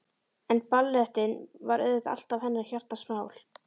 En ballettinn var auðvitað alltaf hennar hjartans mál.